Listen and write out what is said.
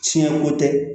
Tiɲɛ ko tɛ